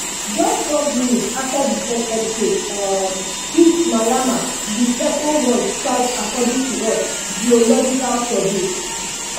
just twelve minutes afta di first earthquake um hit myanmar di second one strike according to us geological survey